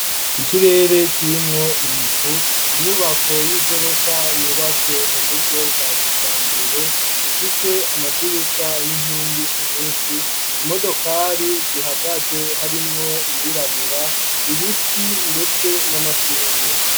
Ikirere, kirimwo ibicu, inyubako y'igorofa, yubatswe mu buryo bwa kijambere; ifise amadirisha, n'inkingi nyinshi; imodokari zihagaze, harimwo iyirabura; ibiti, ndetse n'amashurwe.